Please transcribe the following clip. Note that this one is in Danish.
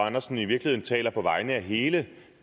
andersen i virkeligheden taler på vegne af hele